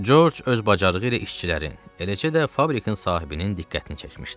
George öz bacarığı ilə işçilərin, eləcə də fabrikin sahibinin diqqətini çəkmişdi.